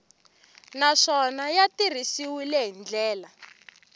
naswona ya tirhisiwile hi ndlela